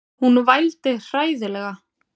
Hún vældi hræðilega.